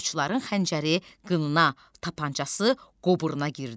Qoçların xəncəri qınına, tapançası qoburuna girdi.